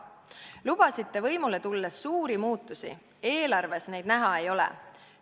Lubasite võimule tulles suuri muutusi, eelarves neid näha ei ole.